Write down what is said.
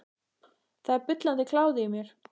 Það er bullandi kláði í mér.